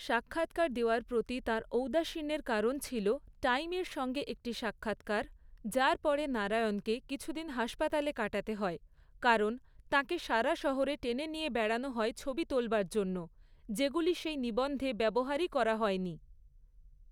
সাক্ষাৎকার দেওয়ার প্রতি তাঁর ঔদাসীন্যের কারণ ছিল 'টাইম' এর সঙ্গে একটি সাক্ষাৎকার, যার পরে নারায়ণকে কিছুদিন হাসপাতালে কাটাতে হয় কারণ তাঁকে সারা শহরে টেনে নিয়ে বেড়ানো হয় ছবি তোলবার জন্য, যেগুলো সেই নিবন্ধে ব্যবহারই করা হয়নি।